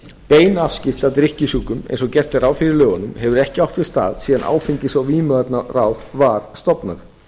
bein afskipti af drykkjusjúkum eins og gert er ráð fyrir í lögunum hefur ekki átt sér stað síðan áfengis og vímuvarnaráð var stofnað